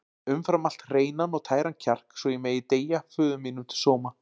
Umfram allt hreinan og tæran kjark svo ég megi deyja föður mínum til sóma.